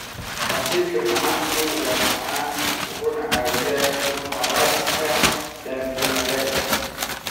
Casiirka macaanku waa macaan wuxuuna caawiyaa inuu haraadka damiyo xagaaga.